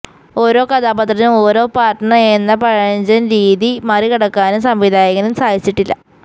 ഓരോ കഥാപാത്രത്തിനും ഓരോ പാര്ട്ണര് എന്ന പഴഞ്ചന് രീതി മറികടക്കാനും സംവിധായകന് സാധിച്ചിട്ടില്ല